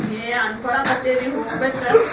ಏ ಅನ್ಕೋಲತೇವ್ರಿ ಹೋಗ್ಬೇಕ.